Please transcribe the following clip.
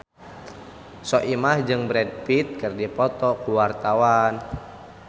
Soimah jeung Brad Pitt keur dipoto ku wartawan